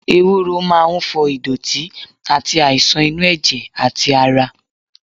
Ewuro máa ń fọ ìdọ̀tí àti àìsàn inú ẹ̀jẹ̀ àti ara.